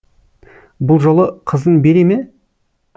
бұл жолы қызың бере ме